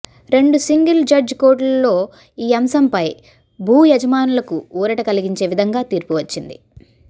రెండు single judge కోర్టులో ఈ అంశంపై భూయజమానులకు ఊరట కలిగించే విధంగా తీర్పు వచ్చింది